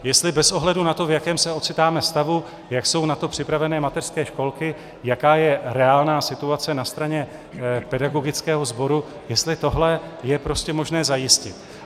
Jestli bez ohledu na to, v jakém se ocitáme stavu, jak jsou na to připraveny mateřské školky, jaká je reálná situace na straně pedagogického sboru, jestli tohle je prostě možné zajistit.